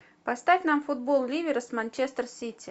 поставь нам футбол ливера с манчестер сити